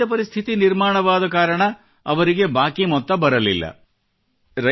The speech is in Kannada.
ಮುಂದೆ ವಿಪರೀತ ಪರಿಸ್ಥಿತಿ ನಿರ್ಮಾಣವಾದ ಕಾರಣ ಅವರಿಗೆ ಬಾಕಿ ಮೊತ್ತ ಬರಲಿಲ್ಲ